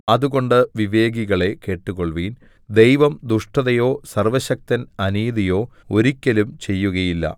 അതുകൊണ്ട് വിവേകികളേ കേട്ടുകൊള്ളുവിൻ ദൈവം ദുഷ്ടതയോ സർവ്വശക്തൻ അനീതിയോ ഒരിക്കലും ചെയ്യുകയില്ല